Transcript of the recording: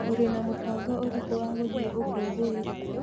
ũrĩ na mũbango ũrĩkũ wa gũthiĩ ũkũngũĩri?